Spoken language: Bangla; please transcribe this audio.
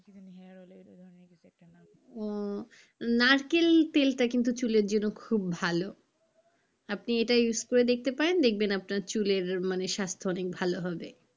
উম নারকেল তেলটা কিন্তু চুলের জন্য খুব ভালো আপনি এটা use করে দেখতে পারেন দেখবেন আপনার চুলের মানে স্বাস্থ্য অনেক ভালো হবে।